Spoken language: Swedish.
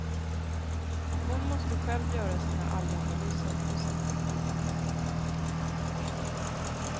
Hon måste själv göra sina alganalyser på sin fritid.